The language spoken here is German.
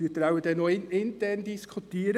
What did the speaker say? Diesen müssen Sie dann noch intern diskutieren.